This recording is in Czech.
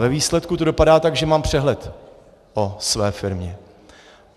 Ve výsledku to dopadá tak, že mám přehled o své firmě.